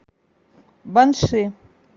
банши